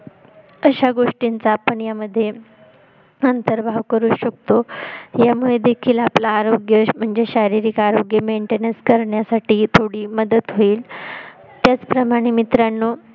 तश्या गोष्टींचा आपण यामध्ये आंतर भाव करू शकतो यामुळे देखील आपले आरोग्य म्हणजेच शारीरिक आरोग्य mantainance करण्यासाठी थोडी मदत होईल त्याचप्रमाणे मित्रांनो